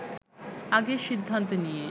আগেই সিদ্ধান্ত নিয়ে